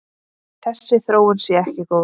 Þessi þróun sé ekki góð.